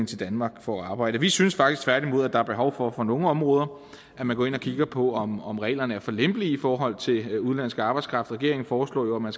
til danmark for at arbejde vi synes faktisk tværtimod at der er behov for på nogle områder at man går ind og kigger på om om reglerne er for lempelige i forhold til udenlandsk arbejdskraft regeringen foreslog jo at man